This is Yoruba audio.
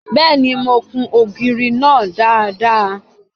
Bẹ́ẹ̀ni, mo kun ògiri náà dáadáa.